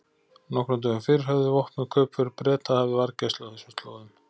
Nokkrum dögum fyrr höfðu vopnuð kaupför Breta hafið varðgæslu á þessum slóðum.